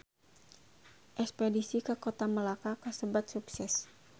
Espedisi ka Kota Melaka kasebat sukses